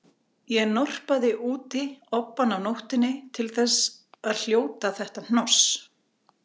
Ég norpaði úti obbann af nóttunni til að hljóta þetta hnoss